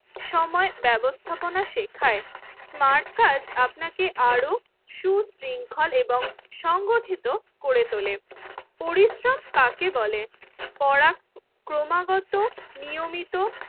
সময় ব্যবস্থাপনা শেখায় স্মার্ট কাজ আপনাকে আরো সু-শৃংখল এবং সংগঠিত করে তোলে। পরিশ্রম কাকে বলে? পরাক্রমাগত নিয়মিত